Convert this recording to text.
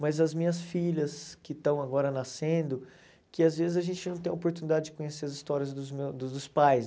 Mas as minhas filhas que estão agora nascendo, que às vezes a gente não tem a oportunidade de conhecer as histórias dos meu dos pais.